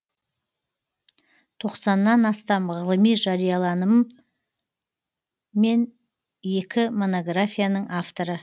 тоқсаннан астам ғылыми жарияланым мен екі монографияның авторы